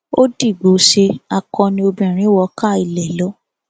ó dìgbòóṣe akọni obìnrin wọ káa ilé lọ